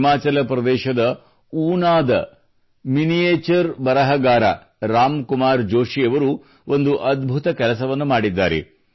ಹಿಮಾಚಲ ಪ್ರದೇಶದ ಊನಾದ ಮಿನಿಯೇಚರ್ ಬರಹಗಾರ ರಾಮ್ ಕುಮಾರ್ ಜೋಷಿಯವರು ಒಂದು ಅದ್ಭುತ ಕೆಲಸವನ್ನು ಮಾಡಿದ್ದಾರೆ